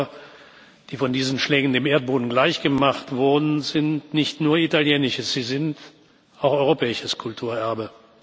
Die Dörfer, die von diesen Schlägen dem Erdboden gleichgemacht wurden, sind nicht nur italienisches, sie sind auch europäisches Kulturerbe.